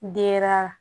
Denyɛrɛnin